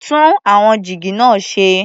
Tún àwọn jígí náà ṣe.